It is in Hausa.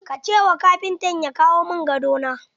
Ka ce ma kafintan ya kawo min gado na!